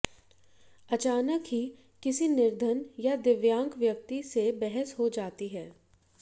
अचानक ही किसी निर्धन या दिव्यांक व्यक्ति से बहस हो जाती है